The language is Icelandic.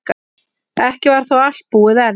Ekki var þó allt búið enn.